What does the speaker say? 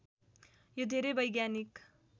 यो धेरै वैज्ञानिक